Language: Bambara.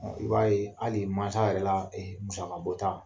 I b'a ye hali masa yɛrɛ la musaka bɔta.